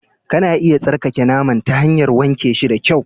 Kana iya tsarkake naman ta hanyar wanke shi da kyau